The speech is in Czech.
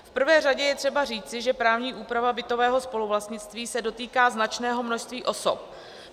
V prvé řadě je třeba říci, že právní úprava bytového spoluvlastnictví se dotýká značného množství osob.